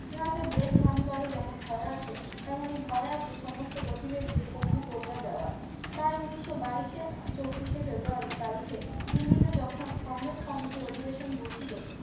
ইহাতে break ভাঙ্গিবারো যেমন ভয় আছে তেমনি ভয় আছে সমস্ত গতিবেগকে পঙ্গু করিয়া দেওয়ার তাই উন্নিশো বাইশের আ চব্বিশে ফেব্রুয়ারি তারিখে দিল্লিতে যখন কংগ্রেস কমিটি অধিবেশন বসিল